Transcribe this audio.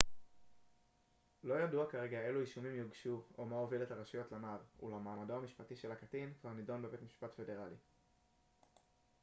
לא ידוע כרגע אילו אישומים יוגשו או מה הוביל את הרשויות לנער אולם מעמדו המשפטי של הקטין כבר נדון בבית משפט פדרלי